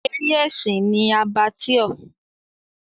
Eré ẹ̀sìn ni Abattoir.